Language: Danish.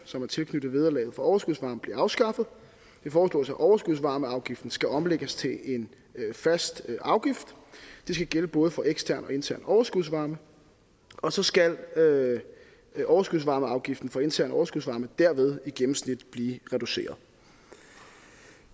som er tilknyttet vederlaget for overskudsvarme bliver afskaffet det foreslås at overskudsvarmeafgiften skal omlægges til en fast afgift det skal gælde både for ekstern og intern overskudsvarme og så skal overskudsvarmeafgiften for intern overskudsvarme derved i gennemsnit blive reduceret